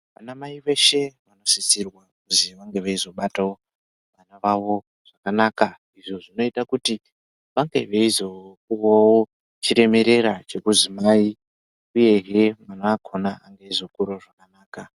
Vanamai veshe vanosisirwa kuti vange veizobatawo vava vavo zvakanaka izvo zvinoita kuti vange veizopuwawp chiremerera chekuti mai uyezve mwana wakona ange eizokurawo zvakanaka.